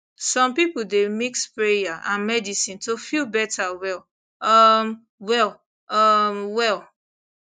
some people dey mix prayer and medicine to feel better well um well well um well